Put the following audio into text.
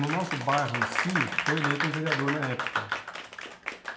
No nosso bairro em si, foi eleito um vereador na época.